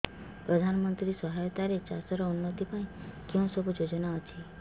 ପ୍ରଧାନମନ୍ତ୍ରୀ ସହାୟତା ରେ ଚାଷ ର ଉନ୍ନତି ପାଇଁ କେଉଁ ସବୁ ଯୋଜନା ଅଛି